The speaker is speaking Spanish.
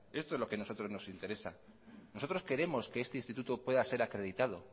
esto es lo que a nosotros nos interesa nosotros queremos que este instituto pueda ser acreditado